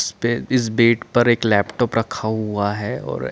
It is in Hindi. इस्पे इस बेड पर एक लैपटॉप रखा हुआ है और --